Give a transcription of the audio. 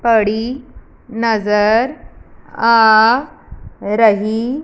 कड़ी नजर आ रही--